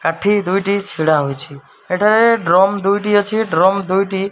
କାଠି ଦୁଇଟି ଛିଡାହୋଇଛି। ଏଠାରେ ଡ୍ରମ ଦୁଇଟି ଅଛି। ଡ୍ରମ ଦୁଇଟି --